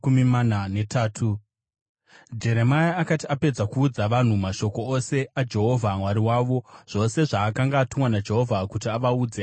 Jeremia akati apedza kuudza vanhu mashoko ose aJehovha Mwari wavo, zvose zvaakanga atumwa naJehovha kuti avaudze,